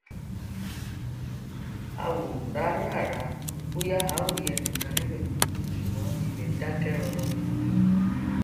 a wò ráràrá bóyá a ó rí ẹnìkan níbẹ ṣùgbọn ibẹ dákẹ rọrọ ni